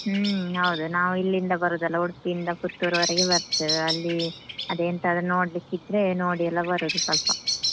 ಹ್ಮ ಹೌದು ನಾವು ಇಲ್ಲಿಂದ ಬರುದಲ್ಲ, ಉಡುಪಿಯಿಂದ ಪುತ್ತೂರ್ವರೆಗೆ ಬರ್ತೇವೆ. ಅಲ್ಲಿ ಅದೇ ಎಂತಾದ್ರು ನೋಡ್ಲಿಕ್ಕೆ ಇದ್ರೆ ನೋಡಿ ಎಲ್ಲ ಬರುದು ಸ್ವಲ್ಪ.